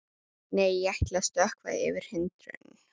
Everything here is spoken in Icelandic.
Nei, ég ætla að stökkva yfir hindrun.